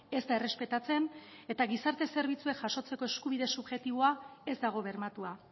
ez da errespetatzen eta gizarte zerbitzuek jasotzeko eskubide subjektiboa ez dago bermatua